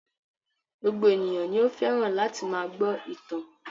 Gbogbo ènìyàn ni ó fẹ́ràn láti máa gbọ́ ìtàn.